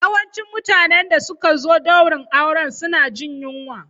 Yawanci mutanen da suka zo daurin auren suna jin yunwa.